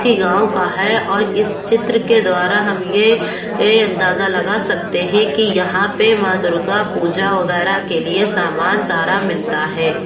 किसी गांव का है और इस चित्र द्वार हम यह अंदाजा लगा सकते है की यहाँ पे माँ दुर्गा पूजा वैगरह की लिए समान सारा मिलता है।